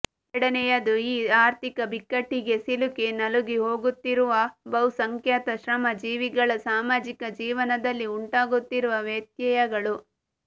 ಎರಡನೆಯದು ಈ ಆರ್ಥಿಕ ಬಿಕ್ಕಟ್ಟಿಗೆ ಸಿಲುಕಿ ನಲುಗಿಹೋಗುತ್ತಿರುವ ಬಹುಸಂಖ್ಯಾತ ಶ್ರಮಜೀವಿಗಳ ಸಾಮಾಜಿಕ ಜೀವನದಲ್ಲಿ ಉಂಟಾಗುತ್ತಿರುವ ವ್ಯತ್ಯಯಗಳು